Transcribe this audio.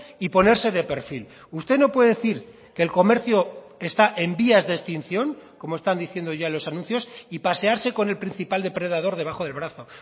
y ponerse de perfil usted no puede decir que el comercio está en vías de extinción como están diciendo ya los anuncios y pasearse con el principal depredador debajo del brazo